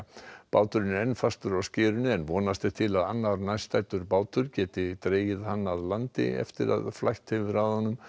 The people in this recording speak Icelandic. báturinn er enn fastur á skerinu en vonast er til að annar nærstaddur bátur geti dregið hann að landi eftir að flætt hefur að honum